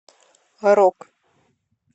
рок